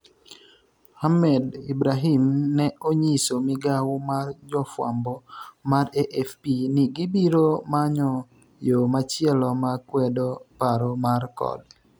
Ahmed Ibrahim ne onyiso migawo mar jofwambo mar AFP ni gibiro manyo yo machielo makwedo paro mar kod